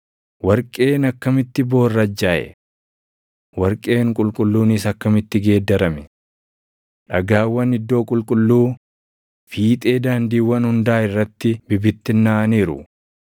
Warqeen akkamitti boorrajjaaʼe? Warqeen qulqulluunis akkamitti geeddarame! Dhagaawwan iddoo qulqulluu fiixee daandiiwwan hundaa irratti bibittinnaaʼaniiru.